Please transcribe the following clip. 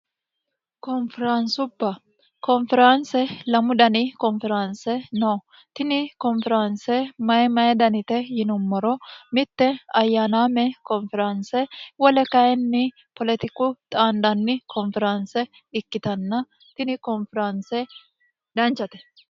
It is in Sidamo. konferaansuba konferaanse lamu dani konferaanse no tini konferaanse mayi mayi danite yinummoro mitte ayyaanaame konferaanse wole kayinni poletiku xaandanni konferaanse ikkitanna tini konferaanse danchate